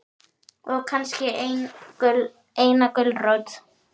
Og kannski eina gulrót.